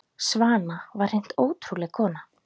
Svana var hreint ótrúleg kona.